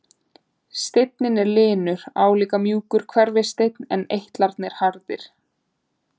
Steinninn er linur, álíka og mjúkur hverfisteinn en eitlarnir allharðir.